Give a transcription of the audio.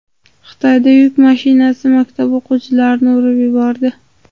Xitoyada yuk mashinasi maktab o‘quvchilarni urib yubordi.